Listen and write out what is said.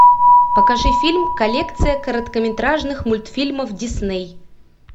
покажи фильм коллекция короткометражных мультфильмов дисней